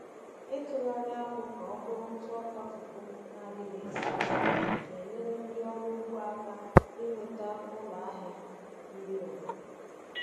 Ịtụgharị akpụ ka ọ bụrụ ntụ ọka fufu na-adịghị esi ísì na-enyere ndị ọrụ ugbo aka inweta ụlọ ahịa nri obodo.